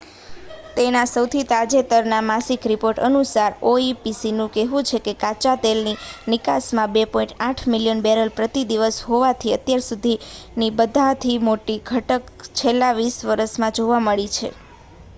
તેના સૌથી તાજેતરના માસિક રિપોર્ટ અનુસાર oepcનું કહેવું છે કે કાચાતેલની નિકાસમાં 2.8 મિલિયન બેરલ પ્રતિ દિવસ હોવાથી અત્યાર સુધીની બધાથી મોટી ઘટત છેલ્લા વીસ વર્ષમાં જોવા મળી છે